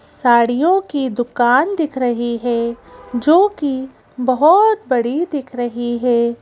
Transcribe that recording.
साड़ियों की दुकान दिख रही है जो कि बहुत बड़ी दिख रही है।